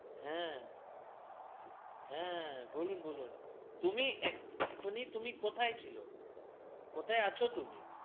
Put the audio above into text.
হ্যা হ্যা বলুন বলুন তুমি এখনই তুমি কোথায় ছিল কোথায় আছো তুমি